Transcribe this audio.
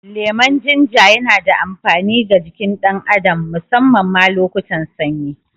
Lemon Jinja yana da amfani ga jikin ɗan adam, musamman ma lokutan sanyi.